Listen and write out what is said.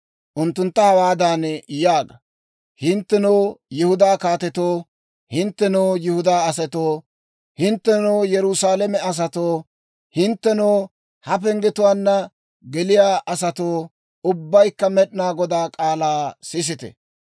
Unttuntta hawaadan yaaga; ‹Hinttenoo Yihudaa kaatetoo, hinttenoo Yihudaa asatoo, hinttenoo Yerusaalame asatoo, hinttenoo ha penggetuwaanna geliyaa asatoo, ubbaykka Med'inaa Godaa k'aalaa sisite!